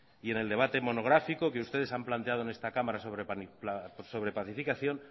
y en el debate monográfico que ustedes han planteado en esta cámara sobre pacificación